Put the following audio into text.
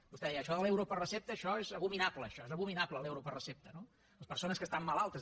vostè deia això de l’euro per recepta això és abominable això és abominable l’euro per recepta no les persones que estan malaltes